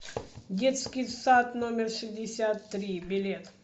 детский сад номер шестьдесят три билет